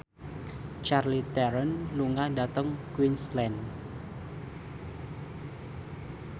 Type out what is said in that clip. Charlize Theron lunga dhateng Queensland